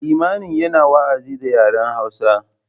Limamin yana wa’azi da yaren hausa.